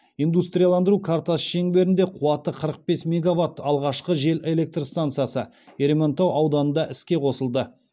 индустрияландыру картасы шеңберінде қуаты қырық бес мегаватт алғашқы жел электр стансасы ерейментау ауданында іске қосылды